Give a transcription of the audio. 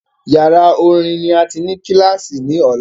Yàrá orin ni a tí ní kílàsì ní ọ̀la